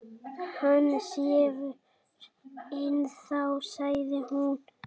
Hann sefur ennþá, sagði hún.